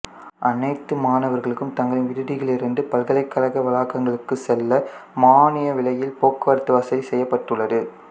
அனைத்து மாணவர்களுக்கும் தங்களின் விடுதிகளிலிருந்து பல்கலைக்கழக வளாகங்களுக்குச் செல்ல மானிய விலையில் போக்குவரத்து வசதி செய்யப்பட்டுள்ளது